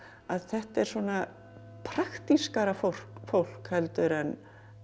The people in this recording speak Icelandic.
að þetta er svona praktískara fólk fólk heldur en